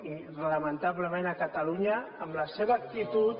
i lamentablement a catalunya amb la seva actitud